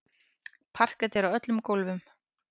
Parket er á öllum gólfum.